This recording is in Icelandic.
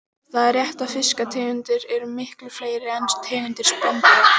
Það er rétt að fiskategundir eru miklu fleiri en tegundir spendýra.